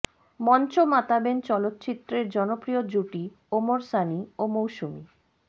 মঞ্চ মাতাবেন চলচ্চিত্রের জনপ্রিয় জুটি ওমর সানী ও মৌসুমী